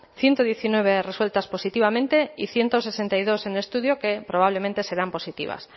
ciento diecinueve resueltas positivamente y ciento sesenta y dos en estudio que probablemente serán positivas